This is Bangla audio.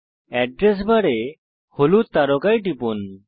এড্রেস বারে হলুদ তারকায় টিপুন